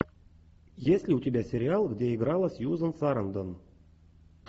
есть ли у тебя сериал где играла сьюзан сарандон